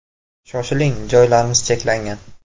Shoshiling, joylarimiz cheklangan!